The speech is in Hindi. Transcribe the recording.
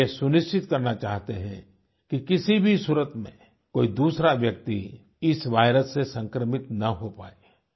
वे ये सुनिश्चित करना चाहते हैं कि किसी भी सूरत में कोई दूसरा व्यक्ति इस वायरस से संक्रमित ना हो पाए